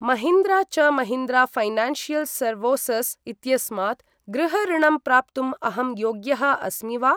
महीन्द्रा च Mahindra financial services इत्यस्मात् गृह ऋणम् प्राप्तुम् अहं योग्यः अस्मि वा?